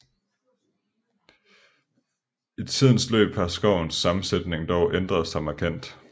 I tidens løb har skovens sammensætning dog ændret sig markant